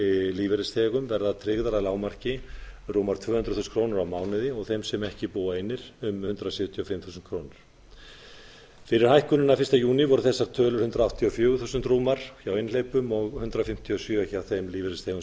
lífeyrisþegum verða tryggðar að lágmarki rúmar tvö hundruð þúsund krónur á mánuði og þeim sem ekki búa einir um hundrað sjötíu og fimm þúsund krónur fyrir hækkunina fyrsta júní voru þessar tölur hundrað áttatíu og fjögur þúsund rúmar hjá einhleypum og hundrað fimmtíu og sjö þúsund krónur hjá þeim lífeyrisþegum